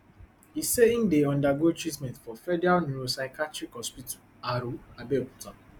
e say im dey undergo treatment for federal neuropsychiatric hospital aro abeokuta